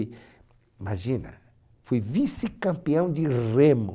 Imagina, fui vice-campeão de remo.